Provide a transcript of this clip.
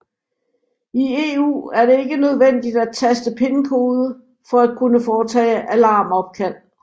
I EU er det ikke nødvendigt at taste pinkode for at kunne foretage alarmopkald